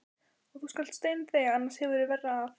Og þú skalt steinþegja, annars hefurðu verra af.